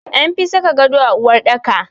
An fi saka gado a uwarɗaka.